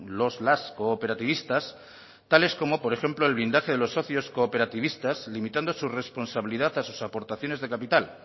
los las cooperativistas tales como por ejemplo el blindaje de los socios cooperativistas limitando su responsabilidad a sus aportaciones de capital